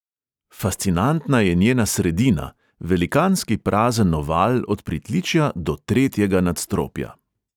Fascinantna je njena sredina, velikanski prazen oval od pritličja do tretjega nadstropja.